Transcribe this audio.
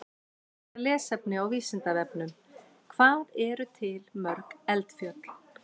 Frekara lesefni á Vísindavefnum: Hvað eru til mörg eldfjöll?